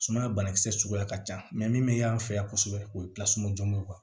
Sumaya banakisɛ suguya ka ca min bɛ y'an fɛ yan kosɛbɛ o ye jɔnjugu ye